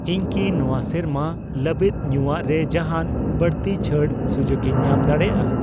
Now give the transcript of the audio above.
ᱤᱧ ᱠᱤ ᱱᱚᱣᱟ ᱥᱮᱨᱢᱟ ᱞᱟᱹᱵᱤᱫ ᱧᱩᱭᱟᱜ ᱨᱮ ᱡᱟᱦᱟᱱ ᱵᱟᱹᱲᱛᱤ ᱪᱷᱟᱹᱲ ᱥᱩᱡᱩᱠᱤᱧ ᱧᱟᱢ ᱫᱟᱲᱮᱭᱟᱜᱼᱟ?